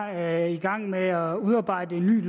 er i gang med at udarbejde et nyt